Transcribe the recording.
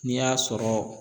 N'i y'a sɔrɔ